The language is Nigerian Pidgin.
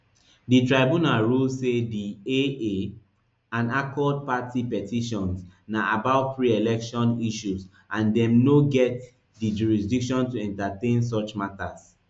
di tribunal rule say di aa and accord party petitions na about preelection issues and dem no get di jurisdiction to entertain such matters